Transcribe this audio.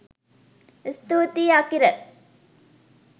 ස්තුතියි! අකිර